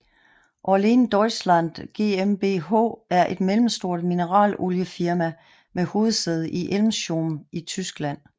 Orlen Deutschland GmbH er et mellemstort mineraloliefirma med hovedsæde i Elmshorn i Tyskland